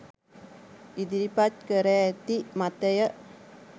ඉදිරිපත් කර ඇති මතය